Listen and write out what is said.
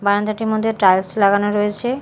বারান্দাটির মধ্যে টাইলস লাগানো রয়েছে।